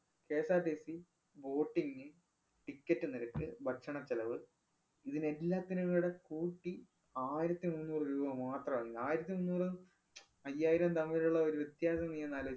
KSRTC, boating, ticket നിരക്ക്, ഭക്ഷണ ചെലവ് ഇതിനെല്ലാത്തിനും കൂടെ കൂട്ടി ആയിരത്തി മുന്നൂറു രൂപ മാത്രാണ്. ആയിരത്തി മുന്നൂറും, അയ്യായിരവും തമ്മിലുള്ള ഒരു വ്യത്യാസം നീയൊന്നാലോ~